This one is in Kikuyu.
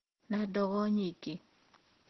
Na ndogo nyingi